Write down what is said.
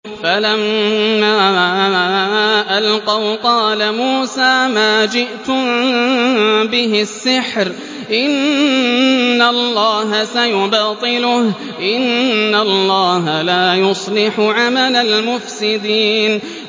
فَلَمَّا أَلْقَوْا قَالَ مُوسَىٰ مَا جِئْتُم بِهِ السِّحْرُ ۖ إِنَّ اللَّهَ سَيُبْطِلُهُ ۖ إِنَّ اللَّهَ لَا يُصْلِحُ عَمَلَ الْمُفْسِدِينَ